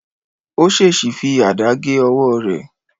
Ó ṣèṣì fi àdá gé ọwọ́ rẹ̀